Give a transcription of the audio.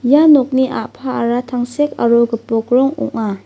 ia nokni a·paara tangsek aro gipok rong ong·a.